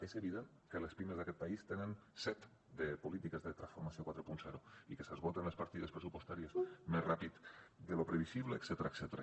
és evident que les pimes d’aquest país tenen set de polítiques de transformació quaranta i que s’esgoten les partides pressupostàries més ràpid de lo previsible etcètera